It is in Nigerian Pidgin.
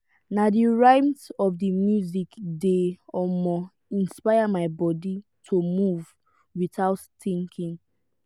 na the rhythm of the music dey um inspire my body to move without thinking.